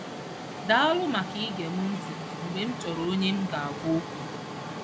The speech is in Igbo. Daalụ maka ige m ntị mgbe m chọrọ onye m ga-agwa okwu.